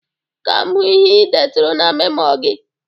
Ka m hụ ihe ị deturu n'memo gị